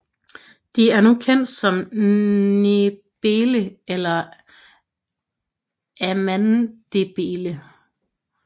De er nu kendt som ndebele eller amandebele